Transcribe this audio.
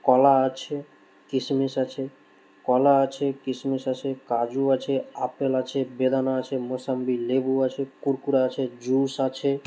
কলা আছে কিসমিস আছে কলা আছে কিসমিস আছে কাজু আছে আপেল আছে বেদানা আছে মৌসম্বি লেবু আছে কুরকুরা আছে জুস আছে।